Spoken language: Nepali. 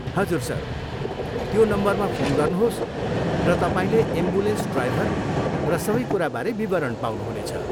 हजुर, सर, त्यो नम्बरमा फोन गर्नुहोस् र तपाईँले एम्बुलेन्स ड्राइभर र सबै कुराबारे विवरण पाउनुहुनेछ।